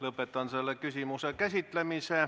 Lõpetan selle küsimuse käsitlemise.